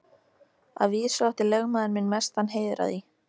Að vísu átti lögmaður minn mestan heiður af því.